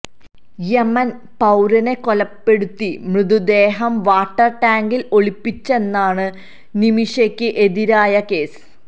Yemen പൌരനെ കൊലപ്പെടുത്തി മൃതദേഹം വാട്ടർ ടാങ്കിൽ ഒളിപ്പിച്ചെന്നാണ് നിമിഷയ്ക്ക് എതിരായ കേസ്